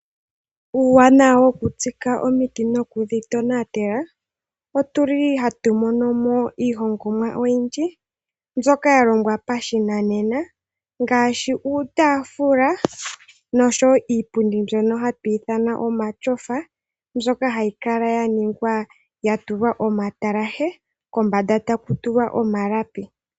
Uuwanawa wokutsika omiti noku dhi tonatela, otu li hatu mono mo iihongomwa oyindji mbyoka ya longwa pa shinanena, ngaashi uutaafula noshowo iipundi mbyono hatu ithana kutya omashofa, mbyoka hayi kala ya ningwa ya tulwa omatalahe, kombanda ta ku tulwa omalapi.